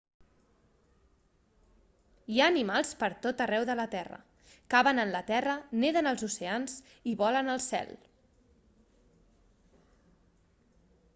hi ha animals per tot arreu de la terra caven en la terra neden als oceans i volen al cel